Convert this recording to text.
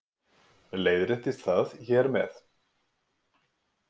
Leiðréttist það hér með